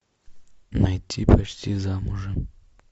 найти почти замужем